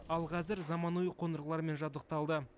ал қазір заманауи қондырғылармен жабдықталды